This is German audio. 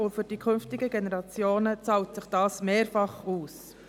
Für die künftigen Generationen zahlt sich das mehrfach aus.